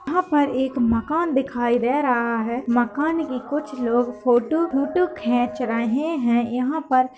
यहां पर एक मकान दिखाई दे रहा है। मकान के कुछ लोग फोटो ओटो खींच रहे हैं। यहां पर --